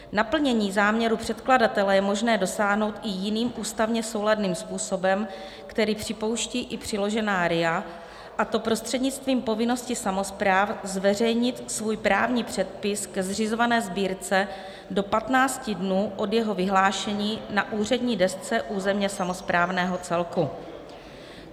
Naplnění záměru předkladatele je možné dosáhnout i jiným ústavně souladným způsobem, který připouští i přiložená RIA, a to prostřednictvím povinnosti samospráv zveřejnit svůj právní předpis ke zřizované sbírce do 15 dnů od jeho vyhlášení na úřední desce územně samosprávného celku.